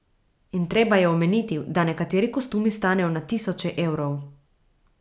In treba je omeniti, da nekateri kostumi stanejo na tisoče evrov.